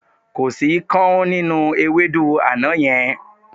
Kò sí káún nínú ewédú àná yẹn.